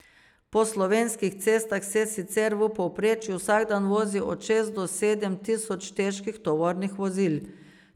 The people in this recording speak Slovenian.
Po slovenskih cestah se sicer v povprečju vsak dan vozi od šest do sedem tisoč težkih tovornih vozil.